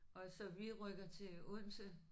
Og så vi rykker til Odense